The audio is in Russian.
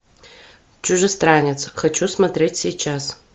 чужестранец хочу смотреть сейчас